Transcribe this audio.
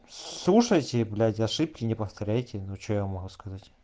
слушайте блять ошибки не повторяйте ну что я могу сказать